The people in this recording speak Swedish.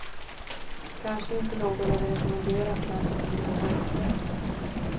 Kanske inte något att rekommendera för den som lider av höjdskräck.